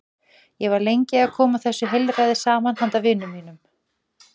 Ég var lengi að koma þessu heilræði saman handa vinum mínum.